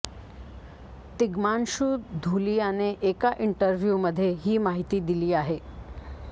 तिग्मांशू धुलियाने एका इंटरव्ह्यूमध्ये ही माहिती दिली आहे